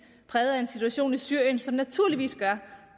præget af en situation i syrien som naturligvis gør